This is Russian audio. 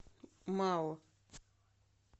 мао